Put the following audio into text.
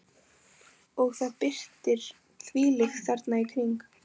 Og það birtir þvílíkt þarna í kring.